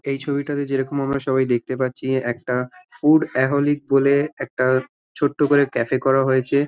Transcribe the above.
এই ছবিটাতে যেরকম আমরা দেখতে পারছি একটা ফুড আহলিক বলে একটা ছোট্ট করে ক্যাফ -এ করা হয়েছে ।